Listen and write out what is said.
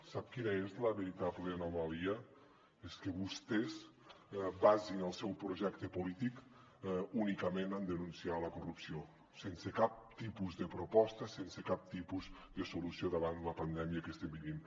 sap quina és la veritable anomalia és que vostè basi el seu projecte polític únicament en denunciar la corrupció sense cap tipus de proposta sense cap tipus de solució davant la pandèmia que estem vivint